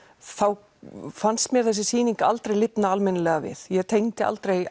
þá fannst mér þessi sýning aldrei lifna almennilega við ég tengdi aldrei